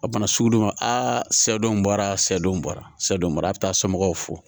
A bana sugu dɔ ma a sɛdenw bɔra sɛw bɔra sɛw mara bɛ taa somɔgɔw fo